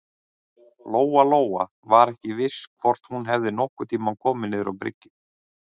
Lóa-Lóa var ekki viss hvort hún hefði nokkurn tíma komið niður á bryggju.